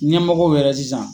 Ɲɛmɔgɔw wɛrɛ sisan.